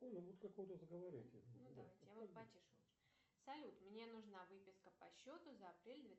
салют мне нужна выписка по счету за апрель